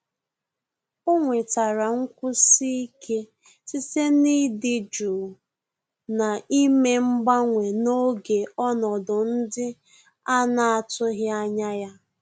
Ọ́ nwètàrà nkwụsi ike site n’ị́dị́ jụụ na ímé mgbanwe n’ógè ọnọdụ ndị a nà-àtụ́ghị́ ányá ya.